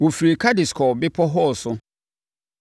Wɔfirii Kades kɔɔ Bepɔ Hor so.